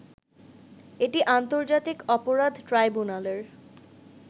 এটি আন্তর্জাতিক অপরাধ ট্রাইব্যুনালের